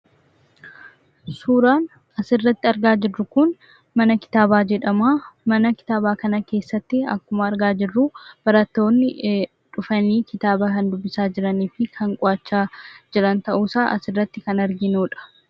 Suuraan asirratti argaa jirru Kun, mana kitaabaa jedhamaa. Mana kitaabaa kana keessattii akkuma argaa jirruu, barattoonni dhufanii kitaaba kan dubbisaa jiranii fi kan qo'achaa jiran ta'uu isaa asirratti kan arginudha.